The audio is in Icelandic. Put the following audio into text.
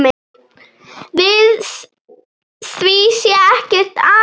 Við því sé ekkert amast.